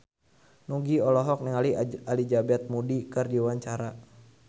Nugie olohok ningali Elizabeth Moody keur diwawancara